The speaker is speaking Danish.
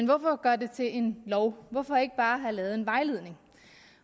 hvorfor at gøre det til en lov og hvorfor ikke bare at have lavet en vejledning